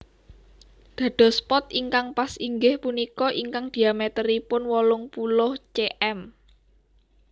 Dados pot ingkang pas inggih punika ingkang dhiamèteripun wolung puluh cm